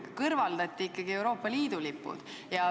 Kõrvaldati ikkagi Euroopa Liidu lipud.